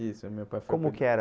Isso, meu pai foi... Como que era?